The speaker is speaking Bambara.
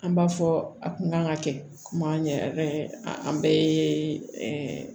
An b'a fɔ a kun kan ka kɛ kuma ɲɛ an bɛɛ ye ɛɛ